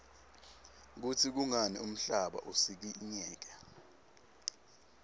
kutsi kungani umhlaba usikinyeka